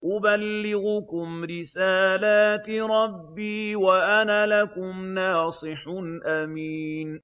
أُبَلِّغُكُمْ رِسَالَاتِ رَبِّي وَأَنَا لَكُمْ نَاصِحٌ أَمِينٌ